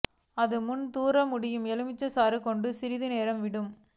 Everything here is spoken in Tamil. அது முன் தூறல் முடியும் எலுமிச்சை சாறு கொண்டு சிறிது நேரம் விட்டு